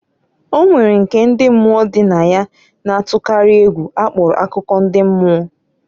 O nwere nke ndi mmụọ dị na ya na-atụkarị egwu akpọrọ akụkọ ndị mmụọ.